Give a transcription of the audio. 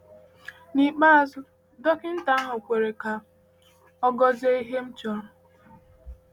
N’ikpeazụ, dọkịta ahụ kwere ka ọ gọzie ihe m chọrọ.